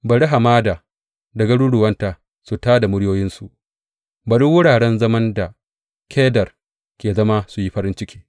Bari hamada da garuruwanta su tā da muryoyinsu; bari wuraren zaman da Kedar ke zama su yi farin ciki.